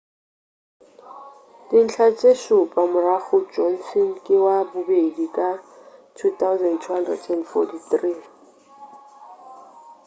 dintlha tše šupa morago johnson ke wa bobedi ka 2,243